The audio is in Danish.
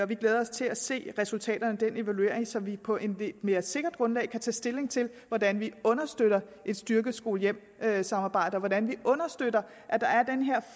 vi glæder os til at se resultaterne af den evaluering så vi på et lidt mere sikkert grundlag kan tage stilling til hvordan vi understøtter et styrket skole hjem samarbejde og hvordan vi understøtter at der er den her